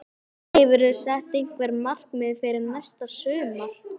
Hefurðu sett einhver markmið fyrir næsta sumar?